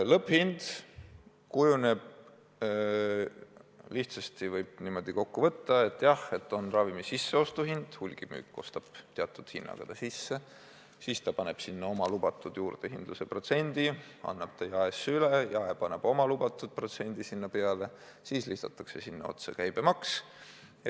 Lõpphind kujuneb, kui lihtsalt kokku võtta, nii, et on ravimi sisseostuhind – hulgimüük ostab teatud hinnaga sisse ja paneb oma lubatud juurdehindluse protsendi otsa ning annab ravimi jaemüüki üle –, jaemüüja paneb oma lubatud protsendi juurde ja lisatakse veel käibemaks.